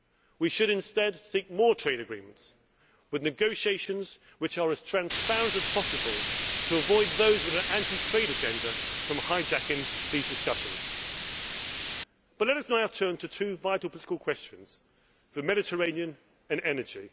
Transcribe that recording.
We should instead seek more trade agreements with negotiations which are as transparent as possible to prevent those with an anti trade agenda from hijacking these discussions. Let us now turn to two vital political questions the Mediterranean and energy.